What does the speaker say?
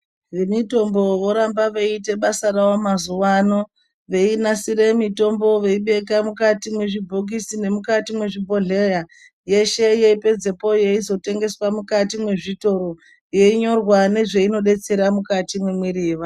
Vemitombo voramba voiite basa rawo mazuwano veinasire mitombo veibeka mukati mwezvibhokisi nemukati mwezvibhodhleya yeshe yeipedzepo yeizotengeswe mukati mwezvitoro yeinyorwa nezvainodetsera mukati mwemwiri yevantu.